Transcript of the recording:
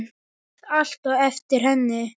Beið alltaf eftir henni.